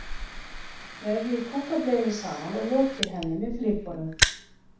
Vefjið kúkableiunni saman og lokið henni með flipunum.